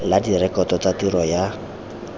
la direkoto tsa tiro ya